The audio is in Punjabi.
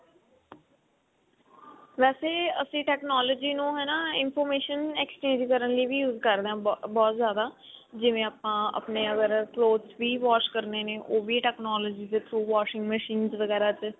ਵੇਸੇ ਅਸੀਂ technology ਨੂੰ ਹਨਾ information exchange ਕਰਨ ਲਈ ਵੀ use ਕਰਦੇ ਹਾਂ ਬਹੁਤ ਜ਼ਿਆਦਾ ਜਿਵੇਂ ਆਪਾਂ ਅਗਰ clothes ਵੀ wash ਕਰਨੇ ਨੇ ਉਹ ਵੀ technology ਤੇ washing machines ਵਗੇਰਾ ਤੇ